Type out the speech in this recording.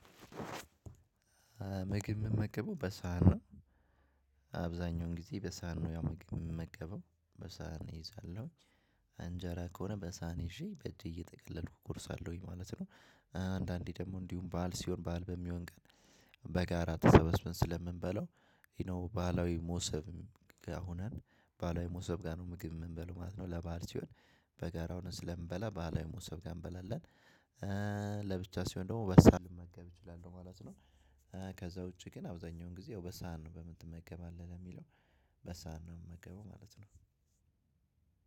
ምግብ ምመገበው በሳህና አብዛኛውን ጊዜ በሳህና ያው ምግብ ምን መገበው በሳህን ይዛለሁኝ። አንጀራ ከሆነ በሳህን ይዤ በእጄ እየጠቀለልኩ እኮርሳለሁኝ ማለት ነው። አንዳንዴ ደግሞ እንዲሁም በዓል ሲሆን ባል በሚሆን ቀን በጋራ ተሰበስበን ስለምንበላው ዩ ኖው ባህላዊ ሞሰብ ጋር ሆነን ባህላዊ ሞሰብ ጋር ነው ምግብ የምንበለው ማለት ነው። ለባል ሲሆን በጋራ ሆነን ስለምንበላ ባህላዊ መሶብ ጋ እንበላለን። ለብቻ ሲሆን ደግሞ በሳል መገብ እችላለሁ ማለት ነው ከዛ ውጪ ግን አብዛኛውን ጊዜ ያው በሳህን ነው በምን ትመገባለ ለሚለው በሳህን ነው የምመገበው ማለት ነው።